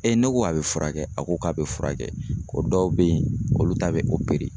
ne ko a bɛ furakɛ? A ko k'a bɛ furakɛ. Ko dɔw be ye olu ta bɛ